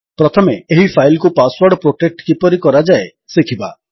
ପ୍ରଥମେ ଏହି ଫାଇଲ୍ କୁ ପାସୱର୍ଡ ପୋଟେକ୍ଟ କିପରି କରାଯାଏ ଶିଖିବା